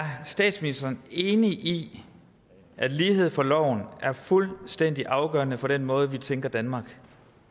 statministeren enig i at lighed for loven er fuldstændig afgørende for den måde vi tænker danmark